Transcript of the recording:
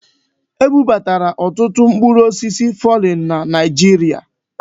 Ebubatara ọtụtụ mkpụrụ osisi fọrịn na Naịjirịa.